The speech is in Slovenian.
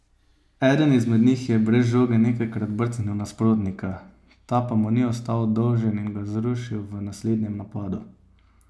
Eden izmed njih je brez žoge nekajkrat brcnil nasprotnika, ta pa mu ni ostal dolžen in ga je zrušil v naslednjem napadu.